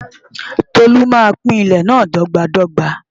Tolú máa pín ilẹ̀ náà dọ́gba dọ́gba.